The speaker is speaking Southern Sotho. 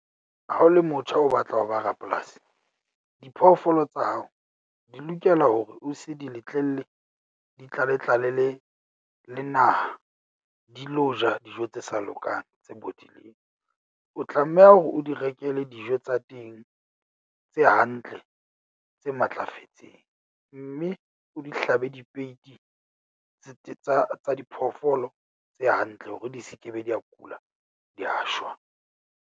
Ha o le motho o batla ho ba rapolasi. Diphoofolo tsa hao di lokela hore o se di letlelle di tlale tlale le le naha. Di lo ja dijo tse sa lokang tse bodileng. O tlameha hore o di rekele dijo tsa teng tse hantle, tse matlafetseng, mme o di hlabe dipeiti tse tsa tsa diphoofolo tse hantle hore di se ke be da kula da shwa.